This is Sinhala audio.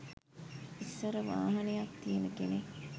ඉස්සර වාහනයක් තියෙන කෙනෙක්